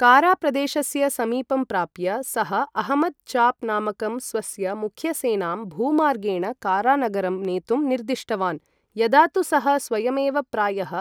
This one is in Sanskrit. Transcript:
काराप्रदेशस्य समीपं प्राप्य, सः अहमद् चाप् नामकं, स्वस्य मुख्यसेनां भूमार्गेण कारानगरं नेतुम् निर्दिष्टवान्, यदा तु सः स्वयमेव प्रायः